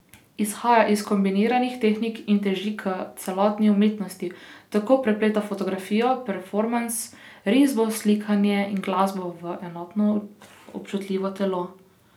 Izhaja iz kombiniranih tehnik in teži k celostni umetnini, tako da prepleta fotografijo, performans, risbo, slikanje in glasbo v enotno občutljivo telo.